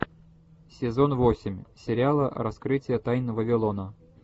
сезон восемь сериала раскрытие тайн вавилона